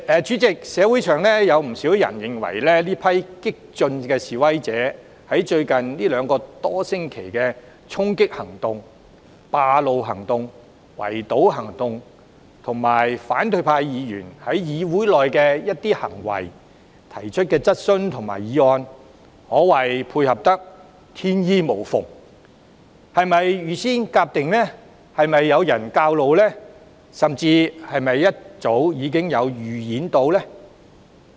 主席，社會上不少人認為，這群激進的示威者在最近兩個多星期的衝擊、佔路、圍堵行動，以及反對派議員在議會內的一些行為、提出的質詢及議案，可謂配合得天衣無縫，不知是否預先籌劃，有人教唆，甚至事前經過預演？